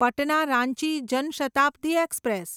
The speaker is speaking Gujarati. પટના રાંચી જન શતાબ્દી એક્સપ્રેસ